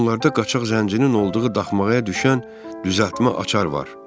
Onlarda qaçaq zəncinin olduğu daxmaya düşən düzəltmə açar var.